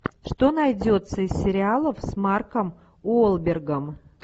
что найдется из сериалов с марком уолбергом